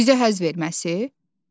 Bizə həzz verməsi?